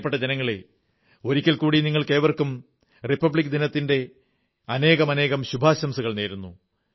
പ്രിയപ്പെട്ട ജനങ്ങളേ ഒരിക്കൽ കൂടി നിങ്ങൾക്കേവർക്കും ഗണതന്ത്രദിനത്തിന്റെ റിപ്പബ്ലിക് ദിനത്തിന്റെ അനേകമനേകം ശുഭാശംസകൾ നേരുന്നു